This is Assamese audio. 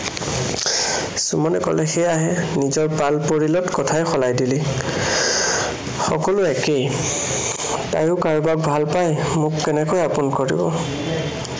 সুমনে কলে, সেয়াহে নিজৰ পাল পৰিলে কথাই সলাই দিলি। সকলো একেই, তাইয়ো কাৰোবাক ভালপায়, মোক কেনেকৈ আপোন কৰিব?